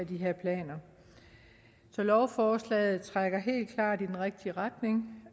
de her planer så lovforslaget trækker helt klart i den rigtige retning